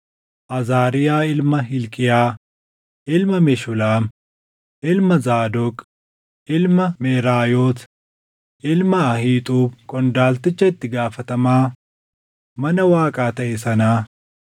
Azaariyaa ilma Hilqiyaa, ilma Meshulaam, ilma Zaadoq, ilma Meraayoot, ilma Ahiixuub qondaalticha itti gaafatamaa mana Waaqaa taʼe sanaa.